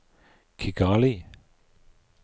Kigali